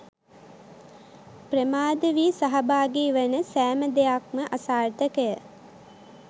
ප්‍රමාද වී සහභාගි වන සෑම දෙයක්ම අසාර්ථකය.